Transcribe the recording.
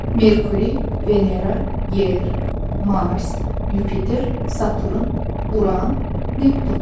Merkuri, Venera, Yer, Mars, Yupiter, Saturn, Uran, Neptun.